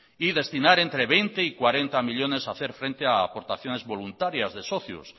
y destinar entre veinte y cuarenta millónes a hacer frente a aportaciones voluntarias de socios